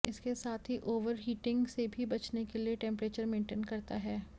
इसके साथ ही ओवरहीटिंग से भी बचने के लिए टेम्परेचर मेन्टेन करता है